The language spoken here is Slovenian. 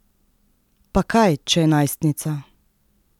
Pa kaj, če je najstnica?